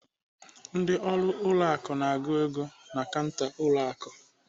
Ndị ọrụ ụlọ akụ na-agụ ego na kanta ụlọ akụ.